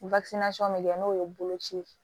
bɛ kɛ n'o ye boloci ye